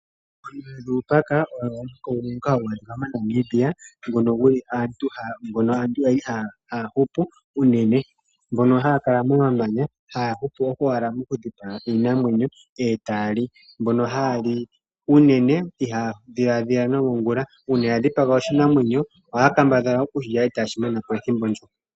Oonyule dhuupaka oyo omuhoko ngoka hagu adhika mo Namibia ngono guli aantu yali haya hupu unene Mbono haya kala momamanya haya hupu owala okudhipaga iinamwenyo e tayali ,mbono hayali unene itaya dhiladhila nangula .uuna ya dhipaga oshiyamakuti ohaya kambadhala okushilya eta yeshi manapo ethimbo ndjoka.